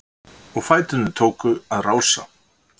Og fæturnir tóku að rása-